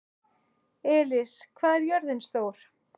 Elis, hvað er jörðin stór?